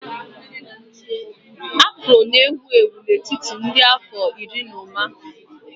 Afro na-ewu ewu n'etiti ndị nọ n'afọ iri na ụma